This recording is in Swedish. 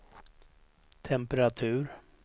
temperatur